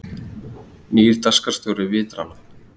Nýr dagskrárstjóri Vitrana